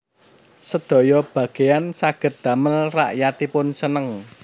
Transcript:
Sedaya bageyan saged damel rakyatipun seneng